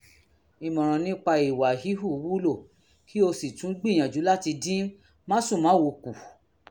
ìmọ̀ràn nípa ìwà híhù wúlò kí o sì tún gbìyànjú láti dín másùnmáwo kù